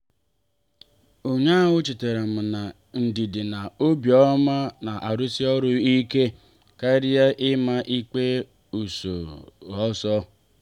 ụnyaahụ chetaram na ndidi na obiọma na-arụsị ọrụ ike karịa ịma ikpe ọsọ ọsọ.